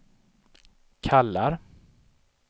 kallar